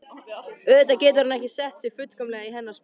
Auðvitað getur hann ekki sett sig fullkomlega í hennar spor.